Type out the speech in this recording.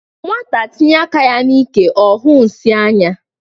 Nwata tinye aka ya n'ike ọhụụ nsi anya.